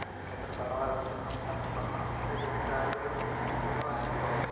എത്രത്തോളം വര്‍ദ്ധിക്കുന്നോ, അത്രത്തോളം നല്ല ജോലിസാധ്യതകള്‍ കൂടുന്നു എന്നുള്ളതാണ് ഇപ്പൊ.